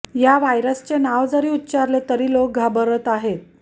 या व्हायरसचे नाव जरी उच्चारले तरी लोक घाबरत आहे